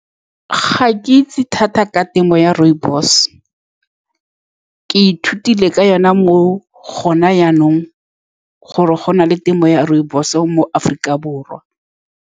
Ga ke itse thata ka temo ya rooibos-e. Ke ithutile ka yone mo gone jaanong, gore gona le temo ya rooibos-o mo Aforika Borwa.